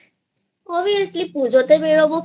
Obviously পূজোতে বেরোবো